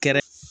Kɛrɛ